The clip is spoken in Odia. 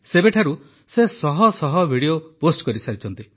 ସେବେଠାରୁ ସେ ଶହ ଶହ ଭିଡିଓ ପୋଷ୍ଟ କରିସାରିଛନ୍ତି